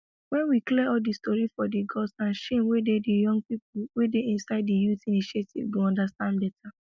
wen we clear all de stories for di gods and shame wey dey young people wey dey inside di youth initiative go understand better